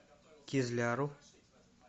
кизляру